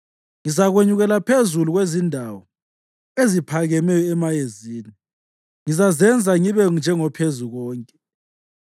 Ngizakwenyukela phezu kwezindawo eziphakemeyo emayezini; ngizazenza ngibe njengoPhezukonke.”